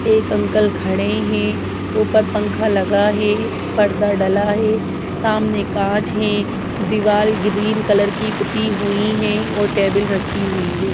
एक अंकल खड़े है ऊपर पंखा लगा है पर्दा डला है सामने कांच है दीवाल ग्रीन कलर की पुती हुई है और टेबल रखी हुई है।